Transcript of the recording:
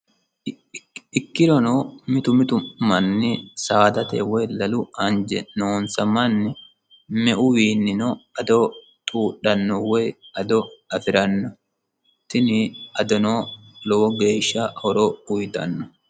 ikkirono mitu mitu manni saadate woy lalu anje noonsa manni meuwiinnino ado xuudhanno woy ado afi'ranno tini adonoo lowo geeshsha horo uyitanno